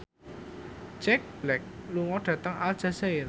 Jack Black lunga dhateng Aljazair